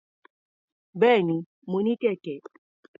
Bẹ́ẹ̀ni, mo ní kẹ̀kẹ́.